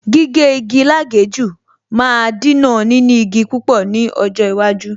Gígé igi lágèéjú máa Dínà níní igi púpọ̀ ní ọjọ́ iwájú